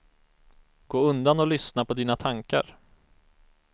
Gå undan och lyssna på dina tankar.